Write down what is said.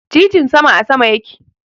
Titin sama a sama yake.